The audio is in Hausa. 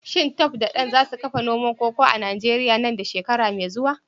Shin Tope da Dan za su kafa noman koko a Najeriya nan da shekara mai zuwa?